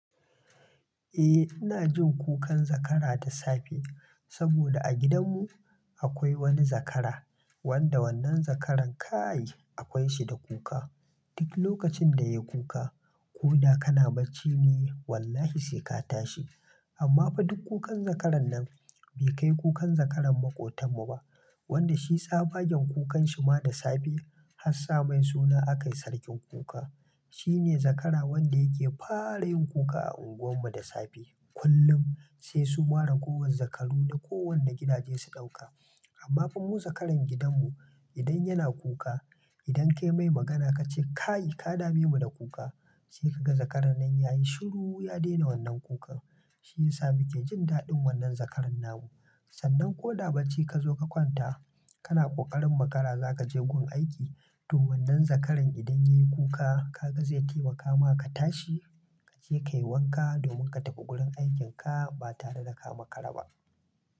Eh, ina jin kukan zakara da safe saboda a gidanmu akwai wani zakara wanda wannan zakaran ka'ai akwai shi da kuka. Duk lokacin da ya yi kuka, ko na kana bacci ne wallahi sai ka tashi. Amma fa duk kukan zakaran nan bai kai kukan zakaran maƙotanmu ba wanda shi tsabagen kukan shi ma da safe. Hassan main suna aka yi Sarkin Kuka. Shi ne zakara wanda yake fara yin kuka a unguwarmu da safe. Kullum sai su mara gowan zakalu na kowane gidaje su ɗauka. Amma fa mu zakaran gidanmu idan yana kuka, idan ka yi mai magana ka ce "ka'ai ka dame mu da kuka", sai ka ga zakaran nan ya yi shiru ya daina wannan kukan. Shi ya sa muke jin daɗin wannan zakaran nan mu. Sannan ko na bacci ka zo ka kwanta kana ƙoƙarin makara za ka je gun aiki to wannan zakaran idan ya yi kuka ka ga zai taimaka ma ka tashi kace ka yi wanka domin ka tafi gurin aikin ka ba tare da ka makara ba.